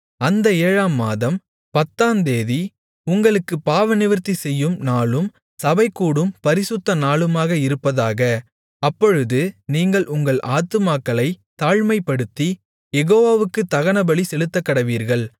அந்த ஏழாம் மாதம் பத்தாந்தேதி உங்களுக்குப் பாவநிவிர்த்தி செய்யும் நாளும் சபைகூடும் பரிசுத்தநாளுமாக இருப்பதாக அப்பொழுது நீங்கள் உங்கள் ஆத்துமாக்களைத் தாழ்மைப்படுத்தி யெகோவாவுக்குத் தகனபலி செலுத்தக்கடவீர்கள்